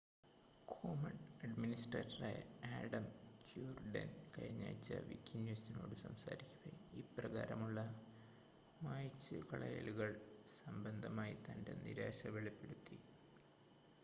Commons അഡ്മിനിസ്ട്രേറ്ററായ Adam Cuerden കഴിഞ്ഞാഴ്ച വിക്കിന്യൂസിനോട് സംസാരിക്കവെ ഇപ്രകാരമുള്ള മായ്ചുകളയലുകൾ സംബന്ധമായി തൻ്റെ നിരാശ വെളിപ്പെടുത്തി